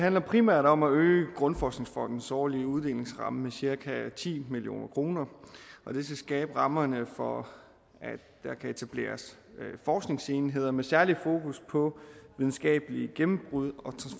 handler primært om at øge danmarks grundforskningsfonds årlige uddelingsramme med cirka ti million kroner det skal skabe rammerne for at der kan etableres forskningsenheder med særligt fokus på videnskabelige gennembrud